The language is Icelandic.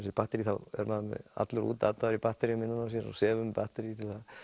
batterí er maður allur útataður í batteríum innan á sér og sefur með batterí